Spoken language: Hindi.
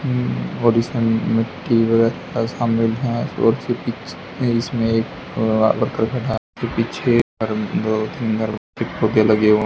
और इसमम मिट्टी वरक है और उसके पीछ इसमे एक पत्थर का घा के पीछे दो तीन घर पे पर्दे लगे हु--